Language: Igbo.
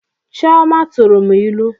Chioma tụrụ m ilu